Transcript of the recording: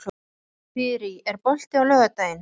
Þyrí, er bolti á laugardaginn?